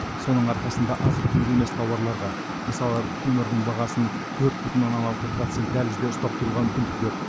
соның арқасында азық түлік емес тауарларға мысалы көмірдің бағасын төрт бүтін оннан алты процент дәлізде ұстап тұруға мүмкіндік берді